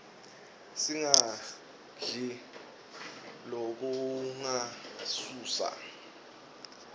singadli lokungasiuuusa